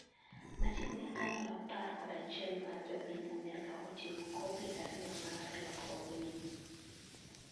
machiegni atamalo apar kod achiel mar jo piny Amerka oting'o kopi ariyo mar lokruogni